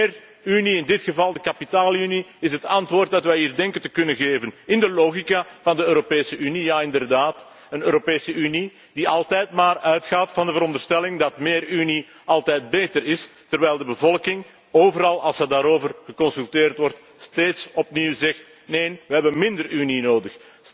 Meer Unie, in dit geval de kapitaalunie, is het antwoord dat wij hier denken te kunnen geven in de logica van de Europese Unie. Ja inderdaad, een Europese Unie, die altijd maar uitgaat van de veronderstelling dat meer Unie altijd beter is, terwijl de bevolking, als ze daarover geconsulteerd wordt, overal steeds opnieuw zegt Neen, we hebben minder Unie nodig.